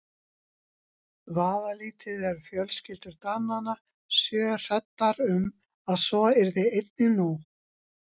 Vafalítið eru fjölskyldur Dananna sjö hræddar um að svo yrði einnig nú.